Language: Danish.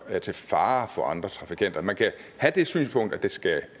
er til fare for andre trafikanter man kan have det synspunkt at det skal